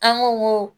An ko n ko